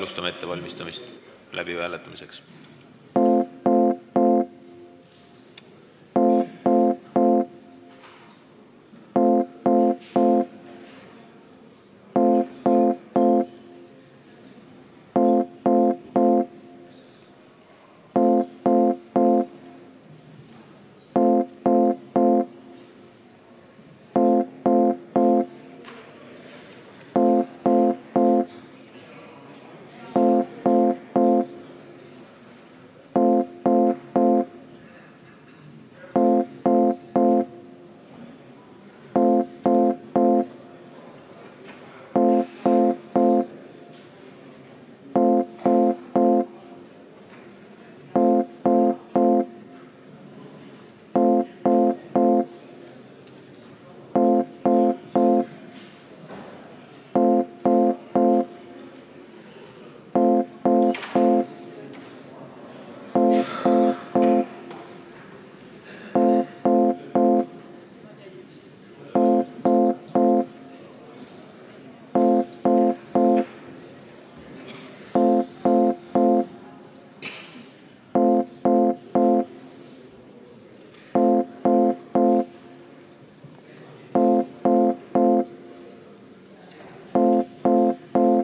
Selge, alustame hääletuse ettevalmistamist.